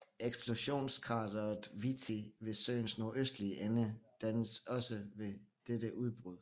Eksplosionskrateret Víti ved søens nordøstlige ende dannedes også ved dette udbrud